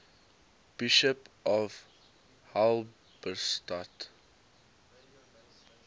bishops of halberstadt